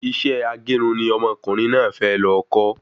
Isẹ́ agerun ni ọmọkùnrin náà fẹ lọ kọ́